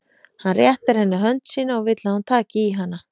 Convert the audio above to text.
Hann réttir henni hönd sína og vill að hún taki í hana.